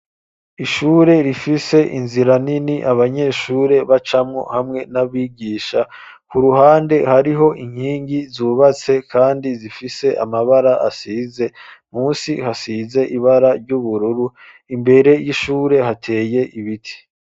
Ishure rifise inzira nini abanyeshure bacamwo hamwe n'abigisha ku ruhande hariho inkingi zubatse, kandi zifise amabara asize musi hasize ibara ry'ubururu imbere y'ishure hateye ibiti.